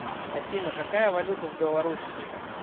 афина какая валюта в белоруссии